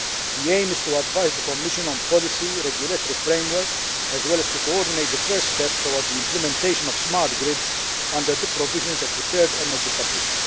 The aim is to advise the Commission on policy, a regulatory framework, as well as to coordinate the first steps towards the implementation of smart grids under the provisions of the Third Energy Package.